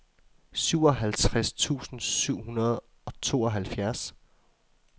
syvoghalvtreds tusind syv hundrede og tooghalvfjerds